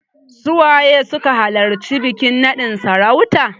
Su waye suka halarci bikin naɗin sarautan?